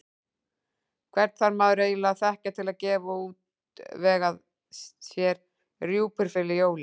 Hvern þarf maður eiginlega að þekkja til að geta útvegað sér rjúpur fyrir jólin?